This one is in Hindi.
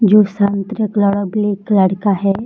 जो संतरा कलर और ब्लैक कलर का है।